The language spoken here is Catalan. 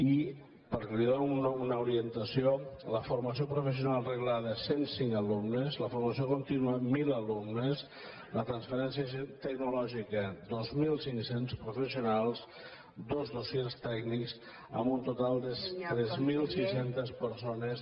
i perquè li doni una orientació la formació professional reglada cent i cinc alumnes la formació continua mil alumnes la transferència tecnològica dos mil cinc cents professionals dos dossiers tècnics amb un total de tres mil sis cents persones